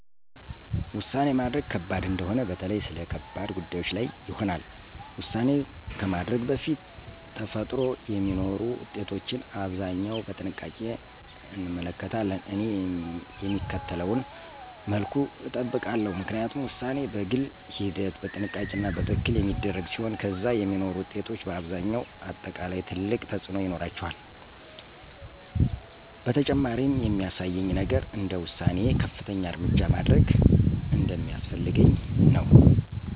ውሳኔ ማድረግ ከባድ እንደሆነ በተለይ ስለ ከባድ ጉዳዮች ላይ ይሆናል። ውሳኔ ከማድረግ በፊት ተፈጥሮ የሚኖሩ ውጤቶችን አብዛኛው በጥንቃቄ እንመለከታለን። እኔ የሚከተለውን መልኩ እጠብቃለሁ፣ ምክንያቱም ውሳኔ በግል ሂደት፣ በጥንቃቄ እና በትክክል የሚደረግ ሲሆን ከዚያ የሚኖሩ ውጤቶች በአብዛኛው አጠቃላይ ትልቅ ተፅእኖ ይኖራቸዋል። በተጨማሪም የሚያሳየኝ ነገር እንደ ውሳኔዬ ከፍተኛ እርምጃ ማድረግ እንደሚያስፈልገኝ ነው።